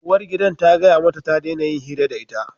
Uwargidan ta gaya mata ta daina yin hira da ita!